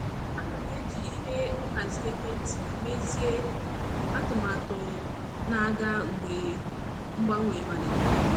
Ana m eji ihe nhazi ekwentị mezie atụmatụ na-aga mgbe mgbanwe malitere.